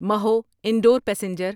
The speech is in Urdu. محو انڈور پیسنجر